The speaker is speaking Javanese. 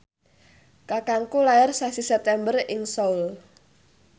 kakangku lair sasi September ing Seoul